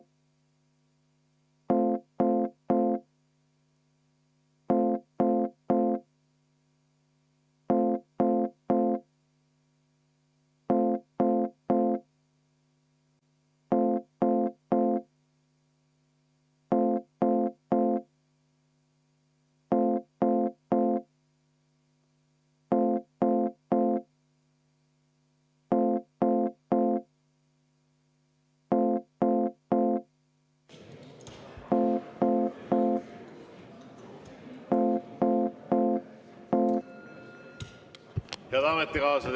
Head ametikaaslased!